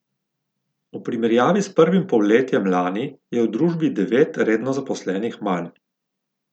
V primerjavi s prvim polletjem lani je v družbi devet redno zaposlenih manj.